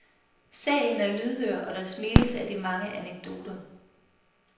Salen er lydhør, og der smiles af de mange anekdoter.